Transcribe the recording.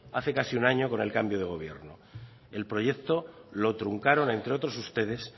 hace casi un año con el cambio de gobierno el proyecto lo truncaron entre otros ustedes